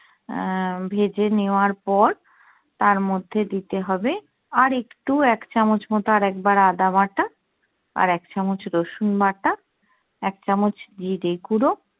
আহ ভেজে নেয়ার পর তার মধ্যে দিতে হবে আর একটু এক চামচ মতো আর একবার আদাবাটা, আর এক চামচ রসুন বাটা, এক চামচ জিরে গুড়ো